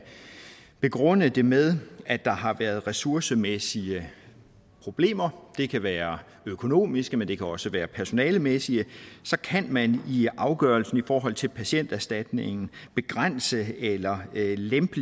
begrunde det med at der har været ressourcemæssige problemer det kan være økonomiske men det kan også være personalemæssige så kan man i afgørelsen i forhold til patienterstatningen begrænse eller lempe